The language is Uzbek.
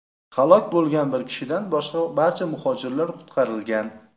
Halok bo‘lgan bir kishidan boshqa barcha muhojirlar qutqarilgan.